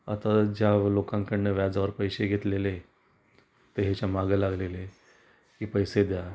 आता ज्या लोकांन कडन व्याजावर पैसे घेतलेले, ते ह्याच्या मागे लागलेले की पैसे द्या.